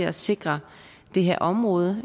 at sikre det her område